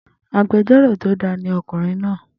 Agbẹjórò tó da ni ọkùnrin náà